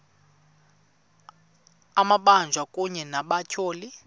amabanjwa kunye nabatyholwa